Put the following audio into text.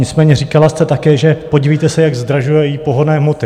Nicméně říkala jste také, že podívejte se, jak zdražují pohonné hmoty.